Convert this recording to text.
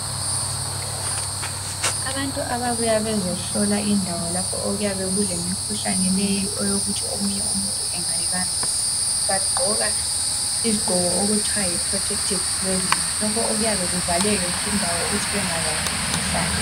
Abantu ababuya bezohlola indawo lapho okuyabe kulemikhuhlene le eyokuthi omunye umuntu engayibambela bagqoka izigqoko okuthiwa yi protected cloth lokhu kuyabavalela ukut bengabambi imikhuhlane